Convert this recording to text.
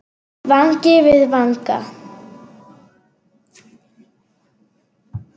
Vangi við vanga.